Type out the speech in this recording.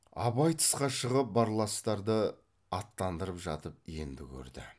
абай тысқа шығып барластарды аттандырып жатып енді көрді